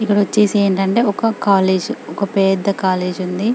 ఇక్కడ వచ్చేసి ఏంటంటే ఒక కాలేజీ ఒక పెద్ద కాలేజీ ఉంది .